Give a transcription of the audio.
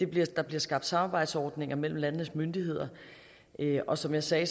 bliver skabt samarbejdsordninger mellem landenes myndigheder og som jeg sagde